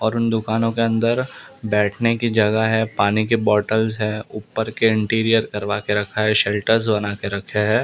और उन दुकानों के अंदर बैठने की जगह है पानी की बोटल्स है ऊपर के इंटिरियर करवा के रखा है शेल्टर्स बना के रखे हैं।